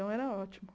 Então, era ótimo.